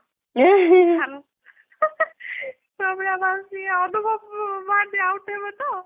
ପ୍ରମିଳା ମାଉସୀ ଅନୁଭବ ମହାମନ୍ତୀ out ହେବେ ତ ?